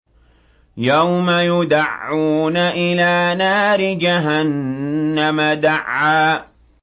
يَوْمَ يُدَعُّونَ إِلَىٰ نَارِ جَهَنَّمَ دَعًّا